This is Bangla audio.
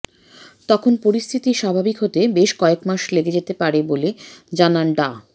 তখন পরিস্থিতি স্বাভাবিক হতে বেশ কয়েক মাস লেগে যেতে পারে বলে জানান ডা